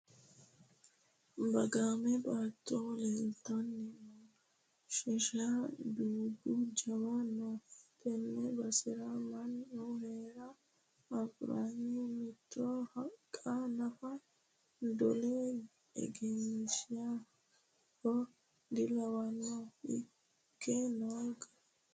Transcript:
Bagame baatto leeltanni no sheshe dubbu jawu no tene basera mannu heera agurinna mitto haqqa nafa dole egeninoniha dilawano ikke noo gari.